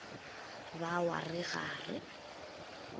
ba wa re ga re